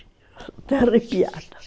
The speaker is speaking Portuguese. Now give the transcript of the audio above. Estou arrepiada.